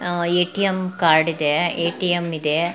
ATM card ಇದೆ ATM ಇದೆ .